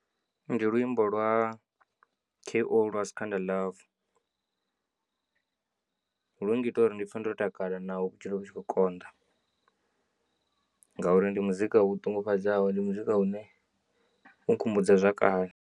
Ndi luimbo lwa K O lwa skhanda love lu ngita uri ndi pfhe ndo takala naho vhutshilo vhu tshi kho konḓa ngauri ndi muzika u ṱungufhadzaho ndi muzika une u nkhumbudza zwa kale.